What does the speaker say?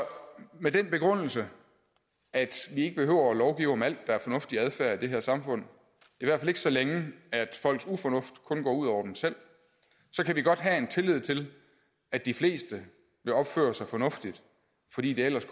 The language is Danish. med den begrundelse at vi ikke behøver at lovgive om alt der er fornuftig adfærd i det her samfund i hvert fald ikke så længe at folks ufornuft kun går ud over dem selv så kan vi godt have tillid til at de fleste vil opføre sig fornuftigt fordi det ellers